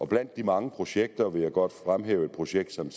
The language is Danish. blandt de mange projekter vil jeg godt fremhæve et projekt som